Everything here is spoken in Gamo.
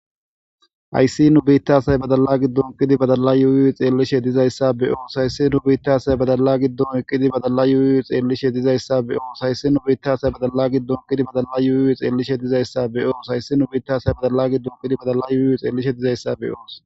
Hayssi nu biittashay badala gi dunkidi badala yuuyy xeellishe dizayssa be oos hayssi nu biittasay badala giddun eqidi badala yuuy xeellishe dizayssa be oos hayssi nu biittasay badala gi dunqidi badala yuuyuy xeellishe dizayssa be oos hayssi nu biittashay badala gi dunqidi badalla yuuy xeellishe dizayssa be oos.